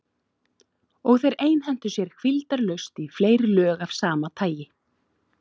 Og þeir einhentu sér hvíldarlaust í fleiri lög af sama tagi.